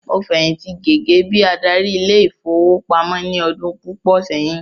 Mo fẹ̀yìntì gẹgẹ bíi adarí ile-ìfowópamó ní ọdún púpò sẹyìn